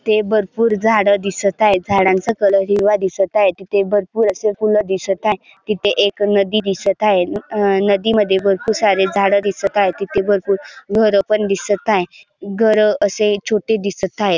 इथे भरपूर झाड दिसत आहे झाडांचा कलर हिरवा दिसत आहे तिथे भरपूर असे फुल दिसत आहे तिथे एक नदी दिसत आहे अ नदी मध्ये भरपूर सारे झाड दिसत आहे तिथे भरपूर घर पण दिसत आहे. घर असे छोटे दिसत आहेत.